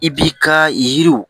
I b'i ka yiriw